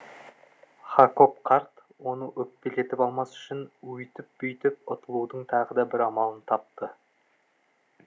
хакоб қарт оны өкпелетіп алмас үшін өйтіп бүйтіп ұтылудың тағы да бір амалын тапты